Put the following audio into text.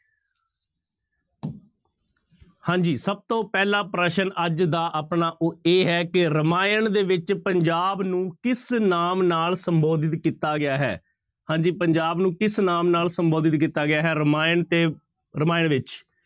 ਹਾਂਜੀ ਸਭ ਤੋਂ ਪਹਿਲਾਂ ਪ੍ਰਸ਼ਨ ਅੱਜ ਦਾ ਆਪਣਾ ਉਹ ਇਹ ਹੈ ਕਿ ਰਮਾਇਣ ਦੇ ਵਿੱਚ ਪੰਜਾਬ ਨੂੰ ਕਿਸ ਨਾਮ ਨਾਲ ਸੰਬੋਧਿਤ ਕੀਤਾ ਗਿਆ ਹੈ, ਹਾਂਜੀ ਪੰਜਾਬ ਨੂੰ ਕਿਸ ਨਾਮ ਨਾਲ ਸੰਬੋਧਿਤ ਕੀਤਾ ਗਿਆ ਹੈ ਰਮਾਇਣ ਤੇ ਰਮਾਇਣ ਵਿੱਚ।